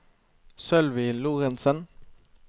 Sølvi Lorentzen